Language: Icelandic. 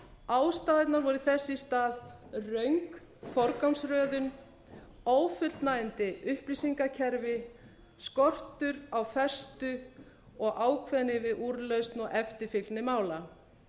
ástæðurnar voru þess í stað röng forgangsröðun ófullnægjandi upplýsingakerfi skortur á festu og ákveðni við úrlausn og eftirfylgni mála